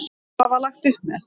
Hvað var lagt upp með?